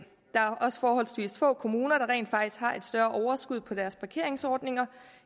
er også forholdsvis få kommuner der rent faktisk har et større overskud på deres parkeringsordninger